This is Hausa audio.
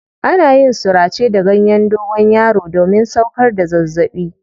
Ana yin surace da ganyen dogonyaro domin sauƙar da zazzaɓi.